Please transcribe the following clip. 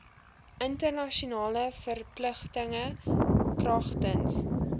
internasionale verpligtinge kragtens